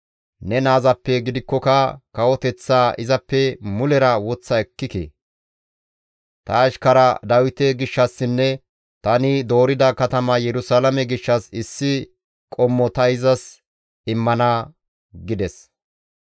Ne naazappe gidikkoka kawoteththaa izappe mulera woththa ekkike; ta ashkaraa Dawite gishshassinne tani doorida katama Yerusalaame gishshas issi qommo ta izas immana» gides.